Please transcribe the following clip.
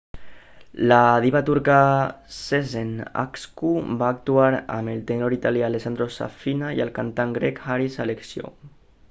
la diva turca sezen aksu va actuar amb el tenor italià alessandro safina i el cantant grec haris alexiou